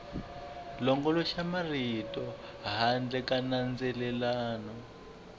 longoloxela marito handle ka nandzelelano